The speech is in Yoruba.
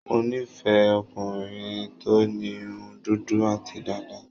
Mo nífẹ̀ẹ́ ọkùnrin tó ní irun dúdú àti dàda.